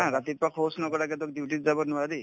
ধৰা ৰাতিপুৱা শৌচ নকৰাকেতো duty ত যাব নোৱাৰি